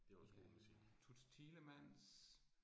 Øh Toots Thielemans